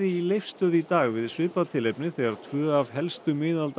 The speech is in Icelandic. í Leifsstöð í dag þegar tvö af helstu